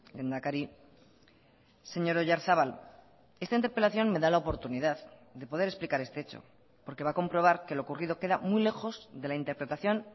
lehendakari señor oyarzabal esta interpelación me da la oportunidad de poder explicar este hecho porque va a comprobar que lo ocurrido queda muy lejos de la interpretación